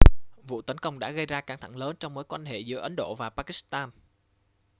vụ tấn công đã gây ra căng thẳng lớn trong mối quan hệ giữa ấn độ và pakistan